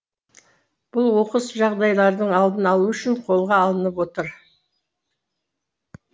бұл оқыс жағдайлардың алдын алу үшін қолға алынып отыр